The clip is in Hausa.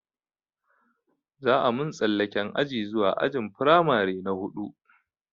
Za a mun tsallaken aji zuwa ajin firamare na huɗu